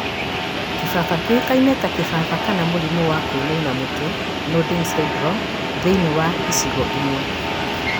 kĩbaba kĩũĩkaine ta kĩbaba kana mũrimũ wa kũinainia mũtwe (nodding syndrome) thĩinĩ wa icigo imwe